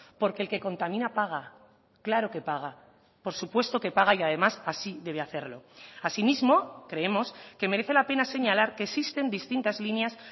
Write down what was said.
porque el que contamina paga claro que paga por supuesto que paga y además así debe hacerlo asimismo creemos que merece la pena señalar que existen distintas líneas